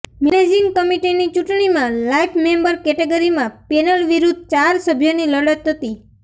managing કમિટિની ચૂંટણીમાં life member કેટેગરીમાં પેનલ વિરુધ્ધ ચાર સભ્યોની લડત હતી